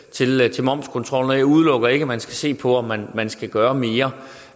til momskontrollen og jeg udelukker ikke at man skal se på om man man skal gøre mere